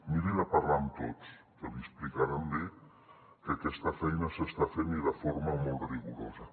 miri de parlar amb tots que li explicaran bé que aquesta feina s’està fent i de forma molt rigorosa